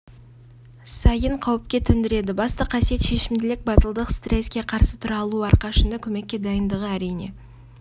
сайын қауіпке төндіреді басты қасиет шешімділік батылдық стресске қарсы тұра алуы әрқашанда көмекке дайындығы әрине